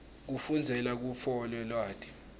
kufundzela kutfola lwati